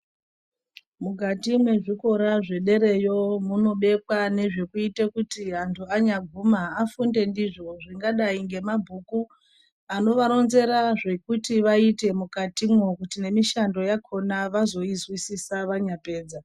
Mukati mwezvikora zvedereyo munobekwa nezvekuite kuti antu anyaguma afunde ndizvo zvingadai ngemabhuku anovaronzera zekuti vaite mukati mwo kuti nemishando yakona vazoyi nzwisisa vanyapedza.